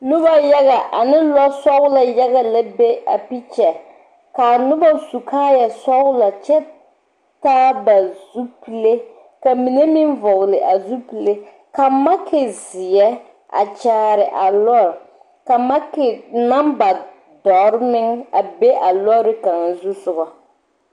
Nobɔ yaga ane lɔ sɔglɔ yaga la be a pikyɛ kaa nobɔ su kaaya sɔglɔ kyɛ taa ba zupile ka mine meŋ vɔgli a zupile ka maki zeɛ a kyaare a lɔɔre ka maki namba dɔre meŋ be kaŋa zusogɔ.